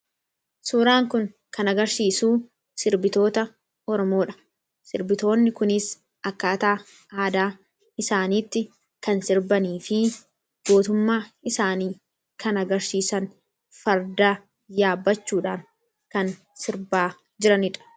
suuraan kun kan agarsiisuu sirbitoota ormoodha sirbitoonni kunis akkaataa aadaa isaaniitti kan sirbanii fi gootummaa isaanii kan agarsiisan fardaa yaabachuudhaan kan sirbaa jiranidha